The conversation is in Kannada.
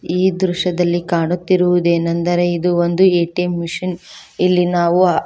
ಈ ದೃಶ್ಯದಲ್ಲಿ ಕಾಣುತ್ತಿರುವುದೇನೆಂದರೆ ಇದು ಒಂದು ಏ_ಟಿ_ಎಂ ಮಿಷನ್ ಇಲ್ಲಿ ನಾವು--